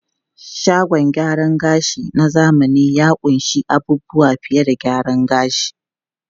Shagon gyaran gashi na zamani ya ƙunshi abubuwa fiye da gyaran gashi.